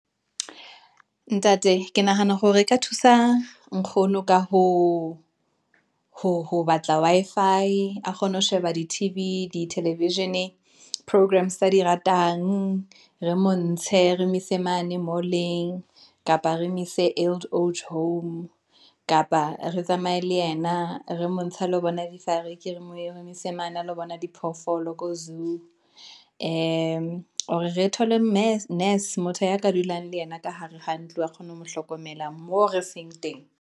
Ntate ke nahana hore ka thusa nkgono ka ho batla Wi-Fi a kgone ho sheba di-T_V, di-television programs tsa di ratang. Re montshe re mo ise mane mall-eng kapa re mo ise eld age home kapa re tsamaye le ena re montshe a lo bona . re mo ise mane a lo bona diphoofolo ko zoo, or re thole nurse, motho ya ka dulang le yena ka hare ha ntlo, a kgone ho mo hlokomela moo re seng teng.